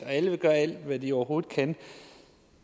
at alle vil gøre alt hvad de overhovedet kan